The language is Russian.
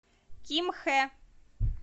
кимхэ